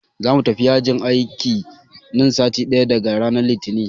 Za mu tafi yajin aiki na sati ɗaya daga ranan Litinin.